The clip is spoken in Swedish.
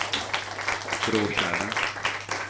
Stråtjära